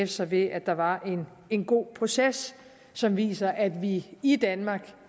sig ved at der var en god proces som viser at vi i danmark